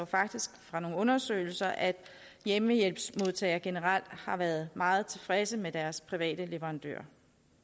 faktisk fra nogle undersøgelser at hjemmehjælpsmodtagere generelt har været meget tilfredse med deres private leverandør